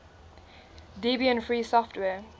debian free software